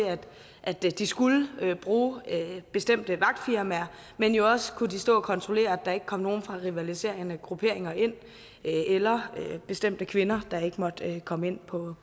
at de skulle bruge bestemte vagtfirmaer men de har også kunnet stå og kontrollere at der ikke kom nogen fra rivaliserende grupperinger ind eller bestemte kvinder der ikke måtte komme ind på